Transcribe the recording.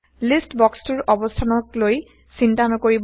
list বক্সটোৰ অৱস্থানকলৈ চিন্তা নকৰিব